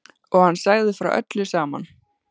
Og hann sagði frá öllu saman.